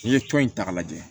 N'i ye tɔn in ta k'a lajɛ